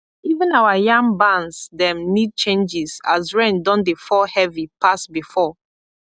even our yam barns dem need changes as rain don dey fall heavy pass before